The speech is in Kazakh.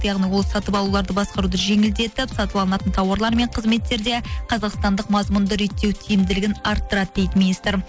яғни ол сатып алуларды басқаруды жеңілдетіп сатып алынатын тауарлар мен кызметтерде қазақстандық мазмұнды реттеу тиімділігін арттырады дейді министр